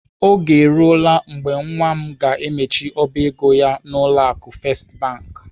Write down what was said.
Oge eruola mgbe nwa m ga-emechi ọba ego ya n'ụlọ akụ First Bank.